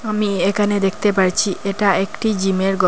আমি এখানে দেখতে পারছি এটা একটি জিমের গর ।